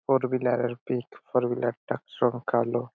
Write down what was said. four wheeler pick four wheeler -টা সংখ্যা লো --